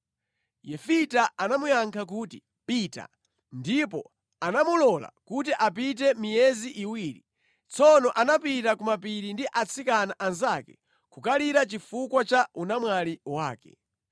Yefita anamuyankha kuti, “Pita.” Ndipo anamulola kuti apite miyezi iwiri. Tsono anapita kumapiri ndi atsikana anzake kukalira chifukwa cha unamwali wake.